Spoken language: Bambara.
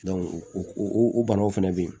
o o banaw fɛnɛ be yen